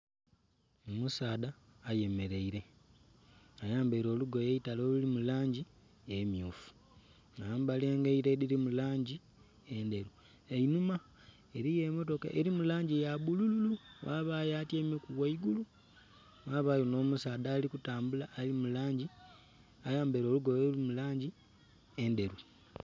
Omusaadha ayemeleile, ayambaile olugoye eitale oluli mu langi emmyufu. Ya yambala engaito edhili mu langi endheru. Einhuma eliyo mmotoka eli mu langi ya bbulululu, ghabayo atyaimeku ghaigulu. Ghabayo nh'omusaadha ali kutambula ali mu langi, ayambaile olugoye oluli mu langi endheru.